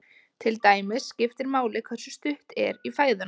Til dæmis skiptir máli hversu stutt er í fæðuna.